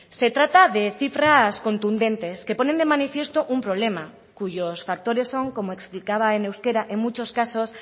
se trata de cifras contundentes que ponen de manifiesto un problema cuyos factores son como explicaba en euskera en muchos casos